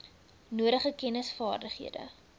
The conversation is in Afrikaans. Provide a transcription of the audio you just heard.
nodige kennis vaardighede